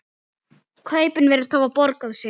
Kaupin virðast hafa borgað sig.